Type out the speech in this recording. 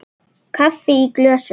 Kaffi í glösum.